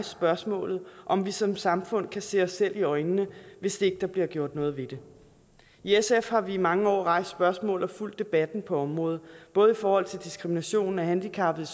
spørgsmålet om vi som samfund kan se os selv i øjnene hvis ikke der bliver gjort noget ved det i sf har vi i mange år rejst spørgsmål og fulgt debatten på området både i forhold til diskrimination af handicappede